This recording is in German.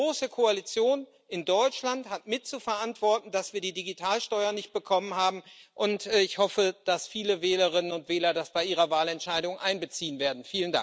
Die große Koalition in Deutschland hat mit zu verantworten, dass wir die Digitalsteuer nicht bekommen haben, und ich hoffe, dass viele Wählerinnen und Wähler das bei ihrer Wahlentscheidung einbeziehen werden.